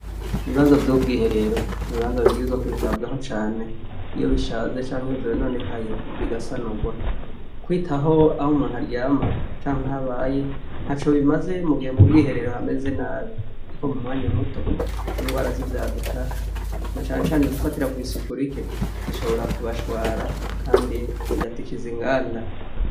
Ibibanza by'ubwiherero n'bibanza bibwirizwa kwitabwaho cane iyo bishaze cank iyo vyononekaye bigasanugwa. Kwitaho aho umuntu aryama canke aho abaye ntaco bimaze mu gihe mu bw'iherero hameze nabi, kuko mu mwanya muto ingwara z'ivyaduka na cane cane zifatira kw'isuku rike zishobora kubashwara kandi zigatikiza inganda.